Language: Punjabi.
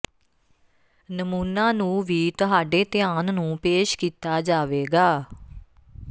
ਨਮੂਨਾ ਨੂੰ ਵੀ ਤੁਹਾਡੇ ਧਿਆਨ ਨੂੰ ਪੇਸ਼ ਕੀਤਾ ਜਾਵੇਗਾ